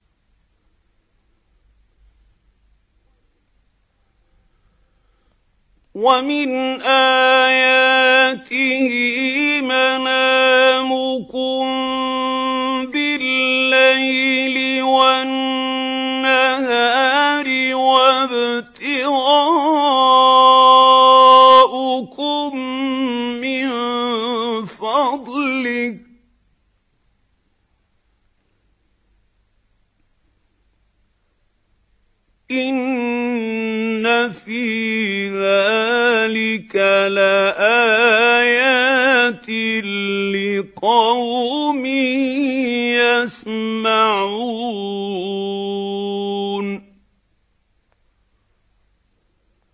وَمِنْ آيَاتِهِ مَنَامُكُم بِاللَّيْلِ وَالنَّهَارِ وَابْتِغَاؤُكُم مِّن فَضْلِهِ ۚ إِنَّ فِي ذَٰلِكَ لَآيَاتٍ لِّقَوْمٍ يَسْمَعُونَ